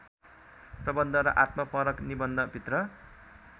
प्रबन्ध र आत्मपरक निबन्धभित्र